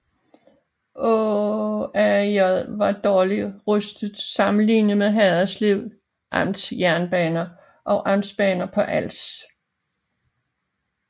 AaAJ var dårligt udrustet sammenlignet med Haderslev Amts Jernbaner og Amtsbanerne på Als